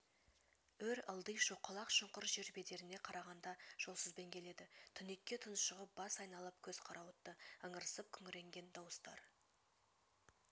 өр-ылди шоқалақ-шұңқыр жер бедеріне қарағанда жолсызбен келеді түнекке тұншығып бас айналып көз қарауытты ыңырсып күңіренген дауыстар